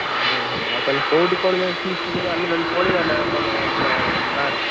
ଓହୋ! ଆଉ ତାହେଲେ କୋଉଠି କରୁଛନ୍ତି feast ଆମେ ନହେଲେ ପଳେଇବା ନା କଣ ପୁରା ବାହାରକୁ?